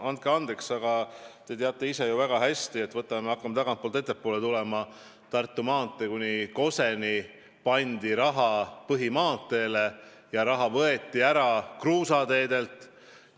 Andke andeks, aga te ise teate ju väga hästi, et – hakkame tagantpoolt ettepoole tulema – Tartu maanteed kuni Koseni ehitades kasutati raha põhimaanteele ja võeti ära kruusateedelt.